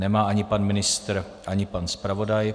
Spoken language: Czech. Nemá ani pan ministr, ani pan zpravodaj.